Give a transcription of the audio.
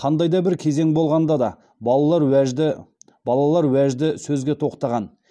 қандай да бір кезең болғанда да балалар уәжді балалар уәжді сөзге тоқтаған